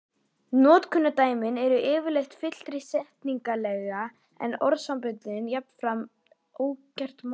Notkunardæmin eru yfirleitt fyllri setningarlega en orðasamböndin, jafnan óskert málsgrein